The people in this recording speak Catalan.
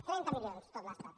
trenta milions en tot l’estat